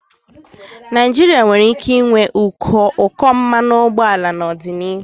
Naijiria nwere ike ịnwe ụkọ mmanụ ụgbọala n'ọdịnihu.